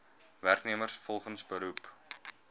werknemers volgens beroep